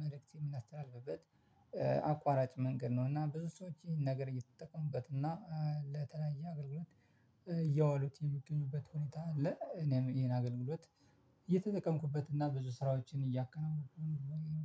ምልክት የምናስተናግድበት አቋራጭ መንገድ ነው። እና ብዙ ሰዎች ይሄን ነገር እየተጠቀሙበት እና ለተለያየ አገልግሎት እያዋሉት የምገኙበት ሁኔታ አለ እኔም ይሄን አገልግሎት አየተጠቀምኩበት እና ብዙ ስራዎችን እያከናንኩ